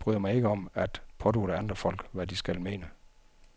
Jeg bryder mig ikke om at pådutte andre folk, hvad de skal mene.